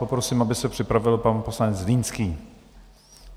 Poprosím, aby se připravil pan poslanec Zlínský.